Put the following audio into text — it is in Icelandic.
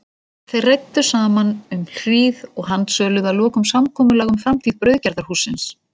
Þeir ræddu saman um hríð og handsöluðu að lokum samkomulag um framtíð brauðgerðarhússins.